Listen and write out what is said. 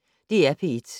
DR P1